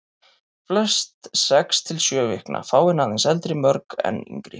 Flest sex til sjö vikna, fáein aðeins eldri, mörg enn yngri.